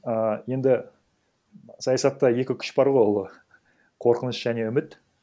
ііі енді саясатта екі күш бар ғой ол қорқыныш және үміт